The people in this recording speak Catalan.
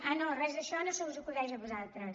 ah no res d’això no se us acudeix a vosaltres